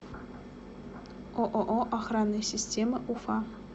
ооо охранные системы уфа